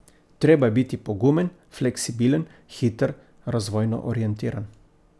Treba je biti pogumen, fleksibilen, hiter, razvojno orientiran ...